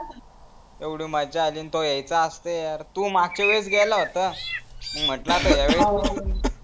येवढि मजा आली तू यायचा असतं यार तू मागच्या वेळेस गेला होता म्हंटलं आता यहा वेळेस